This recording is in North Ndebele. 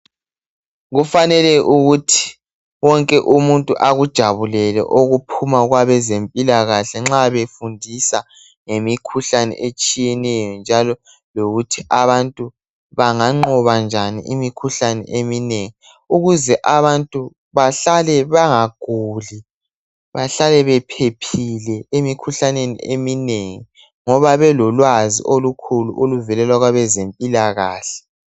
Kufanele ukuthi, wonke umuntu akujabulele okuphuma kwabezempilakahle nxa befundisa ngemikhuhlane etshiyeneyo, njalo lokuthi abantu banganqoba njani imikhuhlane eminengi ukuze abantu bahlale bangaguli, bahlale bephephile emikhuhlaneni eminengi ngoba belolwazi olukhulu oluvelela kwabezempilakahle.